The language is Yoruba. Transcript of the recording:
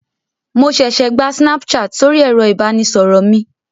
Mo ṣẹṣẹ gba Snapchat sóri ẹ̀rọ ìbánisọ̀rọ̀ mi.